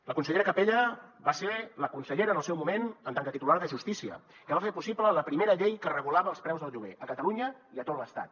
la consellera capella va ser la consellera en el seu moment en tant que titular de justícia que va fer possible la primera llei que regulava els preus del lloguer a catalunya i a tot l’estat